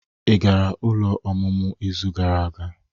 Ị gara ụlọ ọmụmụ izu gara aga?